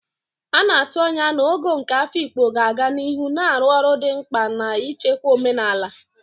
A na-atụ anya na Ogo nke Afikpo ga-aga n'ihu na-arụ ọrụ dị mkpa n'ichekwa omenala.